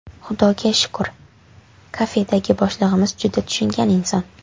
Xudoga shukr, kafedagi boshlig‘imiz juda tushungan inson.